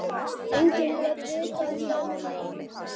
Enginn gat vitað það nema mamma.